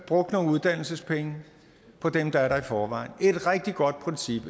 brugt nogle uddannelsespenge på dem der er der i forvejen det er et rigtig godt princip